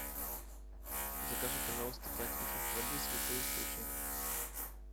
закажи пожалуйста пять литров воды святой источник